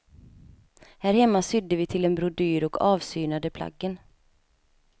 Här hemma sydde vi till en brodyr och avsynade plaggen.